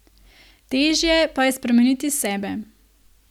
Težje pa je spremeniti sebe.